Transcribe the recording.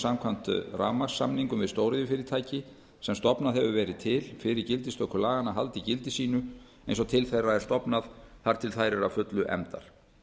samkvæmt rafmagnssamningum við stóriðjufyrirtæki sem stofnað hefur verið til fyrir gildistöku laganna haldi gildi sínu eins og til þeirra er stofnað þar til þær eru að fullu efndar